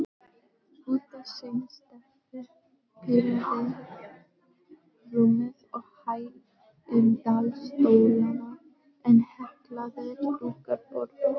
Bútasaumsteppi prýða rúmið og hægindastólana en heklaðir dúkar borðin.